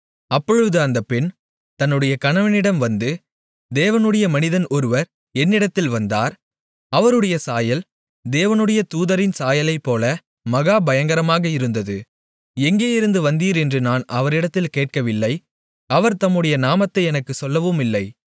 அப்பொழுது அந்தப் பெண் தன்னுடைய கணவனிடம் வந்து தேவனுடைய மனிதன் ஒருவர் என்னிடத்தில் வந்தார் அவருடைய சாயல் தேவனுடைய தூதரின் சாயலைப்போல மகா பயங்கரமாக இருந்தது எங்கேயிருந்து வந்தீர் என்று நான் அவரிடத்தில் கேட்கவில்லை அவர் தம்முடைய நாமத்தை எனக்குச் சொல்லவுமில்லை